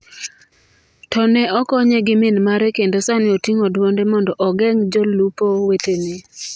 To ne okonye gi min mare kendo sani oting’o dwonde mondo ogeng’ jolupo wetene.